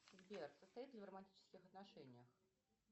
сбер состоит ли в романтических отношениях